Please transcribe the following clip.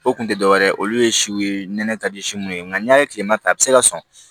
O kun tɛ dɔwɛrɛ ye olu ye siw ye nɛnɛ ka di si mun ye nka n'a ye tilema ta a bɛ se ka sɔn